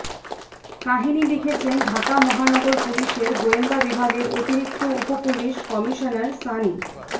কাহিনি লিখেছেন ঢাকা মহানগর পুলিশের গোয়েন্দা বিভাগের অতিরিক্ত উপপুলিশ কমিশনার সানী